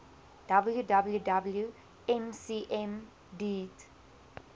www mcm deat